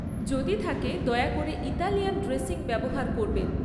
যদি থাকে, দয়া করে ইতালিয়ান ড্রেসিং ব্যবহার করবেন।